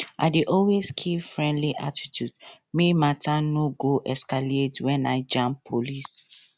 i dey always keep friendly attitude make matter no go escalate when i jam police